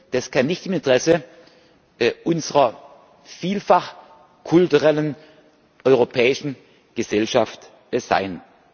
Das kann nicht im Interesse unserer vielfach kulturellen europäischen Gesellschaft sein.